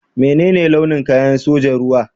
Menene launin kayan sojan ruwa?